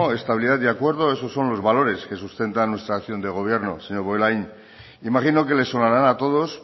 estabilidad y acuerdo esos son los valores que sustentan nuestra acción de gobierno señor bollain imagino que les sonarán a todos